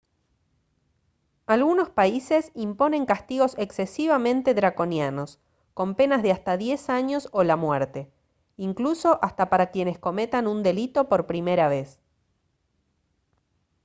algunos países imponen castigos excesivamente draconianos con penas de hasta 10 años o la muerte incluso hasta para quienes cometan un delito por primera vez